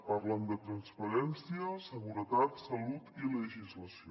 parlen de transparència seguretat salut i legislació